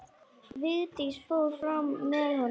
Vigdís fór fram með honum.